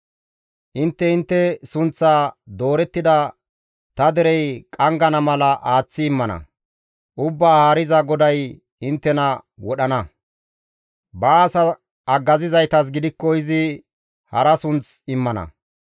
Intte intte sunththaa doorettida ta derey qanggana mala aaththi immana; Ubbaa Haariza GODAY inttena wodhana; baas haggazizaytas gidikko izi hara sunth immana.